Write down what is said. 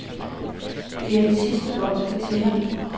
Det er den sidste bold, der tæller.